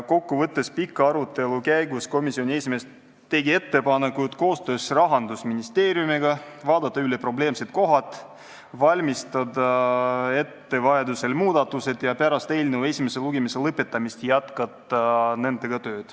Kokku võttes tegi komisjoni esimees pika arutelu käigus ettepaneku vaadata koostöös Rahandusministeeriumiga üle probleemsed kohad, valmistada vajadusel ette muudatused ja jätkata nendega tööd pärast eelnõu esimese lugemise lõpetamist.